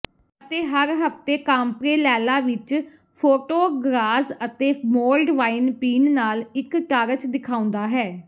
ਅਤੇ ਹਰ ਹਫ਼ਤੇ ਕਾਮਪ੍ਰੇਲੈਲਾ ਵਿਚ ਫੋਟੋਗ੍ਰਾਜ਼ ਅਤੇ ਮੋਲਡ ਵਾਈਨ ਪੀਣ ਨਾਲ ਇਕ ਟਾਰਚ ਦਿਖਾਉਂਦਾ ਹੈ